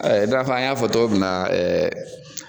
Ɛ dɔn a fɔ an y'a fɔ togo min na ɛɛ